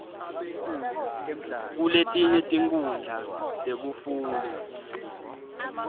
kuletinye tinkhundla tekufundza